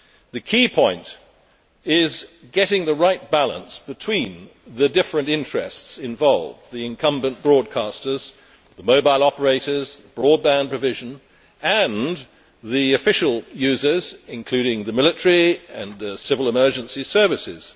The key point is getting the right balance between the different interests involved the incumbent broadcasters, the mobile operators, broadband provision and the official users, including the military and civil emergency services.